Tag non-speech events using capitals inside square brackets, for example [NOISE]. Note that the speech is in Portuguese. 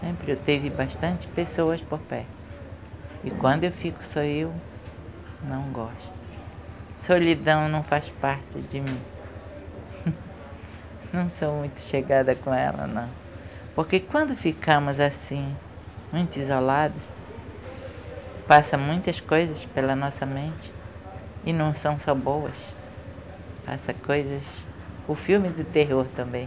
sempre eu tive bastante pessoas por perto e quando eu fico só eu não gosto solidão não faz parte de mim [LAUGHS] não sou muito chegada com ela não porque quando ficamos assim muito isolados passa muitas coisas pela nossa mente e não são só boas passa coisas o filme do terror também